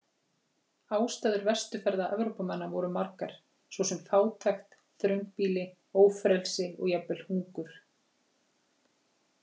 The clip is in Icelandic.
Ástæður vesturferða Evrópumanna voru margar, svo sem fátækt, þröngbýli, ófrelsi og jafnvel hungur.